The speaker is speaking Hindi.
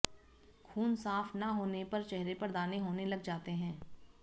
खून साफ ना होने पर चेहरे पर दाने होने लग जाते हैं